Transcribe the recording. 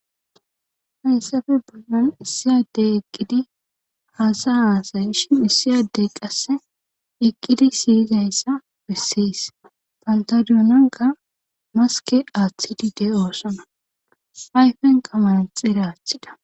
Hayssafe baggan issiyadey eqqidi haasa haasay ishin issiyadey qasse eqqidi siyizayssa besseys pantadiyoonanka maske aaththidi de oosona ayfen qamayan xira aaththida